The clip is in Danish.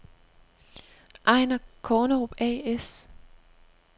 Einar Kornerup A/S